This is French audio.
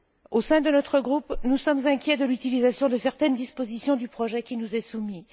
Au sein de notre groupe, nous sommes inquiets de l'utilisation de certaines dispositions du projet qui nous est soumis.